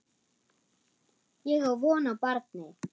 Ég á von á barni.